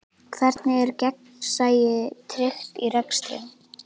Hvernig er gegnsæi tryggt í rekstri?